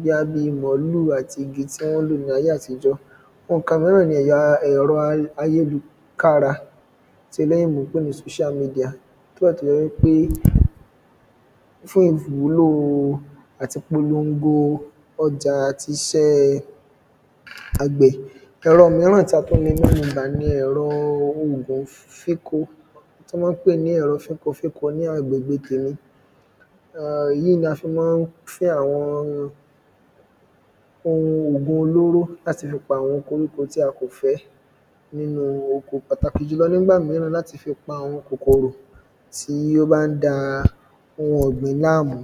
bóyá bíi mọ̀lúù àti igi tí wọ́n lò ní ayé àtijọ́ ohùn kan míràn ni ẹ̀rọ ayélukára tí eléyìnbó ń pè ní social media nígbà tó jẹ́ wípé fún ìwúlò àti ìpolongo ọjà àti iṣẹ́ àgbẹ̀ ẹ̀rọ míràn tí a tún le mẹ́nu bà ni ẹ̀rọ ohùn èlò ìfíko tí wọ́n pè ní ẹ̀rọ fíkofíko ní agbègbè tèmi èyí ni a fi máa ń fí àwọn ohun ògùn olóró láti fi pa àwọn koríko tí a kò fẹ́ nínú oko pàtàkì jùlọ nígbà míràn láti fi pa àwọn kòkòrò tí ó bá ń da ohun ọ̀gbìn láàmú